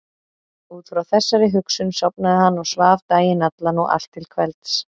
Út frá þessari hugsun sofnaði hann og svaf daginn allan og allt til kvelds.